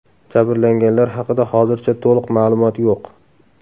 Jabrlanganlar haqida hozircha to‘liq ma’lumot yo‘q.